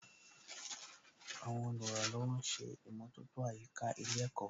Àwọn olùrànlọ́wọ̀ ń ṣe ìmọ̀tótó àyíká ilé ẹ̀kọ́